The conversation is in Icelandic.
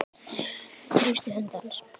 Þrýsti hönd hans.